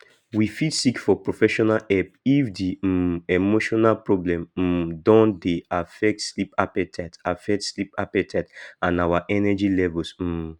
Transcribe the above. we fit seek for professional help if di um emotional problem um don dey affect sleep appetite affect sleep appetite and our energy levels um